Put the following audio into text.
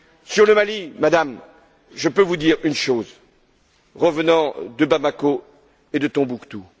Sur le Mali, Madame, je peux vous dire une chose, revenant de Bamako et de Tombouctou.